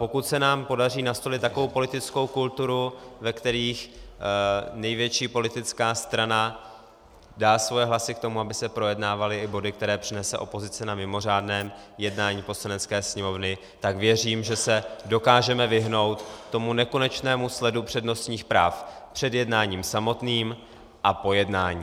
Pokud se nám podaří nastolit takovou politickou kulturu, ve které největší politická strana dá svoje hlasy k tomu, aby se projednávaly i body, které přinese opozice na mimořádném jednání Poslanecké sněmovny, tak věřím, že se dokážeme vyhnout tomu nekonečnému sledu přednostních práv před jednáním samotným a po jednání.